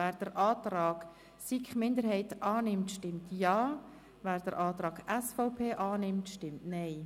Wer den Antrag der SiK-Minderheit annimmt, stimmt Ja, wer den Antrag der SVP annimmt, stimmt Nein.